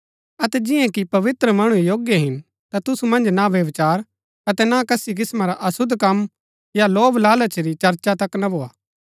अतै जिआं कि पवित्र मणु योग्य हिन ता तुसु मन्ज ना व्यभिचार अतै ना कसी किस्‍मां रा अशुद्ध कम या लोभलालच री चर्चा तक ना भोआ